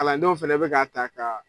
Kalandenw fana bɛ ka ta ka